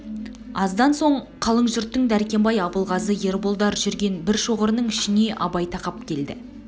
аздан соң қалың жұрттың дәркембай абылғазы ерболдар жүрген бір шоғырының ішіне абай тақап келді